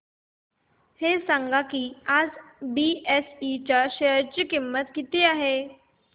हे सांगा की आज बीएसई च्या शेअर ची किंमत किती आहे